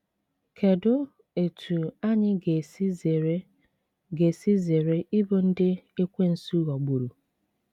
Kedụ etú anyị ga esi zere ga esi zere ịbụ ndị Ekwensu ghọgburu?